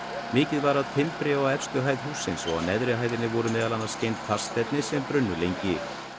mikið var af timbri á efstu hæð hússins og á neðri hæðinni voru meðal annars geymd plastefni sem brunnu lengi